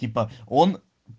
типо он